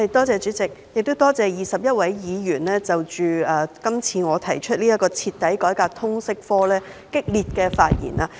主席，多謝21位議員在我提出"徹底改革通識教育科"議案的辯論中熱烈發言。